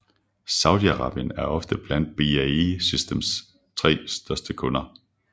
Saudi Arabien er ofte blandt BAE Systems tre største kunder